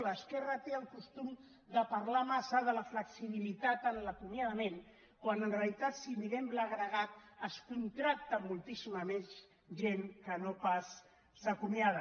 l’esquerra té el costum de parlar massa de la flexibilitat en l’acomiadament quan en realitat si mirem l’agregat es contracta moltíssima més gent que no pas s’acomiada